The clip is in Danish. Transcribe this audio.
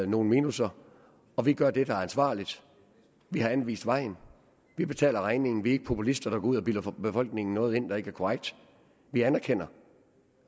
nogle minusser og vi gør det der er ansvarligt vi har anvist vejen vi betaler regningen vi er ikke populister der går ud og bilder befolkningen noget ind der ikke er korrekt vi anerkender